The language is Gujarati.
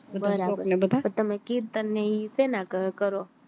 બરાબર તમે કીર્તન ને ઈ શેના કરો